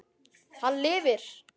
Hann lifir!